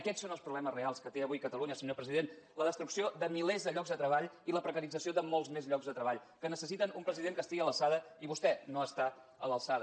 aquests són els problemes reals que té avui catalunya senyor president la destrucció de milers de llocs de treball i la precarització de molts més llocs de treball que necessiten un president que estigui a l’alçada i vostè no està a l’alçada